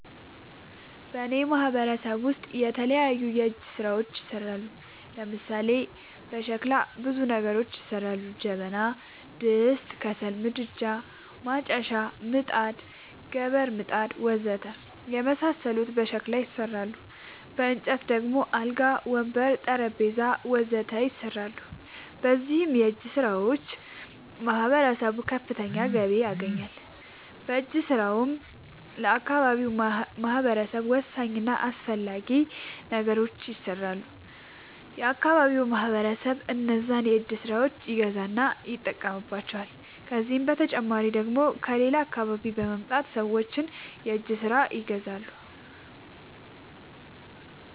በእኔ ማህበረሰብ ውስጥ የተለያዩ የእጅ ስራዎች ይሠራሉ። ለምሳሌ፦ በሸክላ ብዙ ነገሮች ይሠራሉ። ጀበና፣ ድስት፣ ከሰል ምድጃ፣ ማጨሻ፣ ምጣድ፣ ገበር... ወዘተ የመሣሠሉት በሸክላ ይሠራሉ። በእንጨት ደግሞ አልጋ፣ ወንበር፣ ጠረንጴዛ..... ወዘተ ይሠራሉ። በእነዚህም የእጅስራዎች ማህበረሰቡ ከፍተኛ ገቢ ያገኛል። በእጅ ስራውም ለአካባቢው ማህበረሰብ ወሳኝ እና አስፈላጊ ነገሮች ይሠራሉ። የአካባቢው ማህበረሰብም እነዛን የእጅ ስራዎች ይገዛና ይጠቀምባቸዋል። ከዚህ በተጨማሪ ደግሞ ከሌላ አካባቢ በመምጣት ሠዎች የእጅ ስራዎቸችን ይገዛሉ።